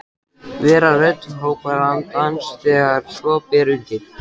Vera rödd hrópandans þegar svo ber undir.